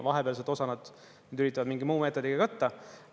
Vahepeal seda osa nad üritavad mingi muu meetodiga katta.